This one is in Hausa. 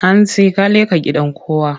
Hantsi ka leƙa gidan kowa!